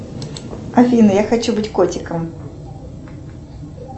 афина я хочу быть котиком